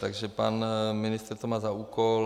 Takže pan ministr to má za úkol.